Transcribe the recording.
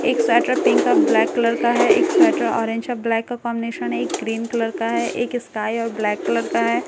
एक sweater pink और black colour का है एक स्‍वेटर ऑरेन्‍ज और ब्‍लै‍क का कॉमीनेशन है एक ग्रीन कलर का है एक स्‍काय और ब्‍लैक कलर का है ।